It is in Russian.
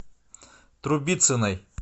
трубицыной